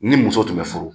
Ni muso tun bɛ furu